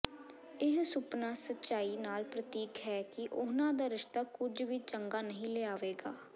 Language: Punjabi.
ਇਹ ਸੁਪਨਾ ਸਚਾਈ ਨਾਲ ਪ੍ਰਤੀਕ ਹੈ ਕਿ ਉਨ੍ਹਾਂ ਦਾ ਰਿਸ਼ਤਾ ਕੁਝ ਵੀ ਚੰਗਾ ਨਹੀਂ ਲਿਆਵੇਗਾ